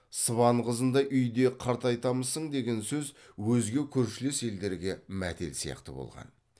сыбан қызындай үйде қартайтамысың деген сөз өзге көршілес елдерге мәтел сияқты болған